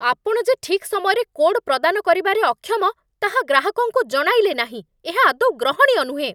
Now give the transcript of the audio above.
ଆପଣ ଯେ ଠିକ୍ ସମୟରେ କୋଡ୍ ପ୍ରଦାନ କରିବାରେ ଅକ୍ଷମ, ତାହା ଗ୍ରାହକଙ୍କୁ ଜଣାଇଲେ ନାହିଁ, ଏହା ଆଦୌ ଗ୍ରହଣୀୟ ନୁହେଁ।